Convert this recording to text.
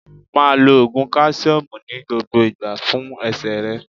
Máa lo Ògùn káṣíọ́mù ní gbogbo ìgbà fún ẹsẹ̀ rẹ.